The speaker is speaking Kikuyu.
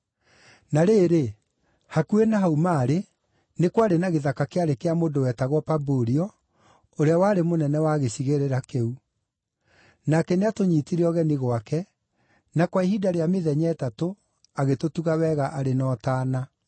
Na rĩrĩ, hakuhĩ na hau maarĩ, nĩ kwarĩ na gĩthaka kĩarĩ kĩa mũndũ wetagwo Pabulio, ũrĩa warĩ mũnene wa gĩcigĩrĩra kĩu. Nake nĩatũnyiitire ũgeni gwake, na kwa ihinda rĩa mĩthenya ĩtatũ agĩtũtuga wega arĩ na ũtaana.